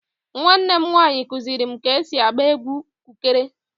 Nwannem nwaanyi kuziri m ka esi agba egwu kụkere